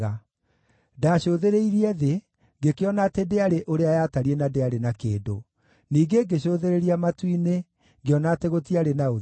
Ndaacũthĩrĩirie thĩ, ngĩkĩona atĩ ndĩarĩ ũrĩa yatariĩ na ndĩarĩ na kĩndũ; ningĩ ngĩcũthĩrĩria matu-inĩ, ngĩona atĩ gũtiarĩ na ũtheri.